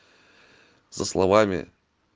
со словами